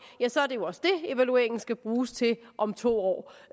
ja så er det jo også det evalueringen skal bruges til om to år